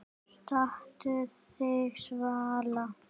Stattu þig, Svala